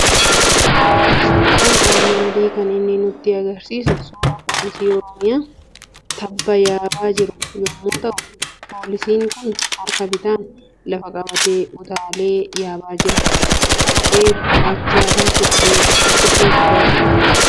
Suuraan armaan olii kan inni nutti argisiisu suuraa poolisii Oromiyaa tabba yaabaa jiru yommuu ta'u, poolisiin kun harka bitaan lafa qabatee utaalee yaabaa jira. Kophee gurraacha fi surrii gurraacha uffata.